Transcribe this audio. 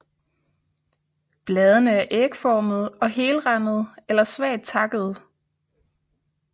Bladene er ægformede og helrandede eller svagt takkede